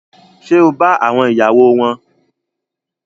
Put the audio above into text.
Ṣe o ba àwọn ìyàwó wọn?